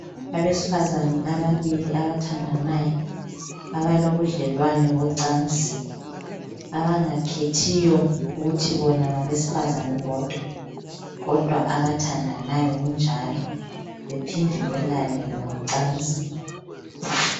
Abesifazane ababili abathandanayo ,abalobudlelwane bocansi .Abangakhethiyo ukuthi bona ngabesifazane bodwa . Kodwa abathandanayo Kunjalo bephinde belale ngocansi .